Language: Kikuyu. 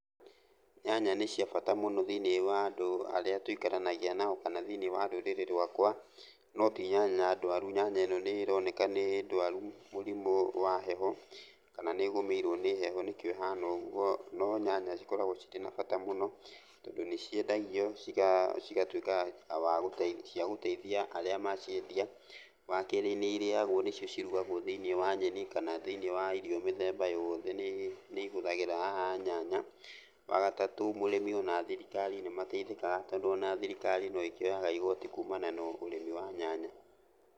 Nyanya nĩ cia bata mũno thĩiniĩ wa andũ arĩa tũikaranagia nao kana thĩiniĩ wa rũrĩrĩ rwakwa, no ti nyanya ndwaru. Nyanya ĩno nĩroneka nĩ ndwaru mũrĩmũ wa heho, kana nĩgũmĩirwo nĩ heho nĩkĩo ĩhana ũguo, no nyanya cikoragwo cirĩ na bata mũno tondũ nĩciendagio cigatuĩka wa gũteithia cia gũteithia arĩa maciendia. Wakerĩ nĩ irĩagwo nĩcio cirugagwo thĩiniĩ wa nyeni kana thĩiniĩ wa irio mĩthemba yoothe nĩihũthagĩra nyanya. Wagatatũ mũrĩmi ona thirikari nĩmateithĩkaga tondũ ona thirikari no ĩkĩoyaga igoti kumana na ũrĩmi wa nyanya.